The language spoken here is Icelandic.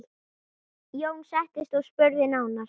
Jón settist og spurði nánar.